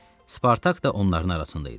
Spartak da onların arasında idi.